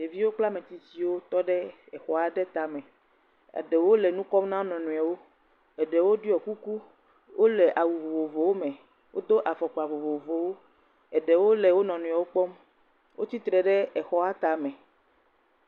Ɖeviwo kple ametsitsiwo tɔ ɖe exɔa ɖe tame, eɖewo le nu kɔm na wo nɔnɔewo, eɖewo ɖiɔ kuku, wole awu vovovowo, wo do afɔkpa vovovowo, eɖewo le wo nɔnɔewo kpɔm, wo tsitre ɖe exɔa tame.